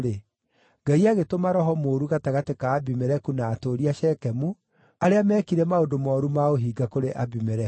Ngai agĩtũma roho mũũru gatagatĩ ka Abimeleku na atũũri a Shekemu, arĩa meekire maũndũ mooru ma ũhinga kũrĩ Abimeleku.